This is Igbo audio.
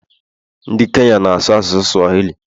Ndị Kenya na-asụ asụsụ Swahili